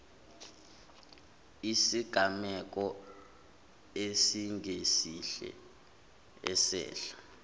isigameko esingesihle esehla